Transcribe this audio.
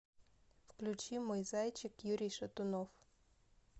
включи мой зайчик юрий шатунов